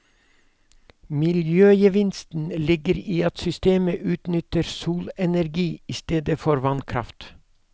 Miljøgevinsten ligger i at systemet utnytter solenergi i stedet for vannkraft.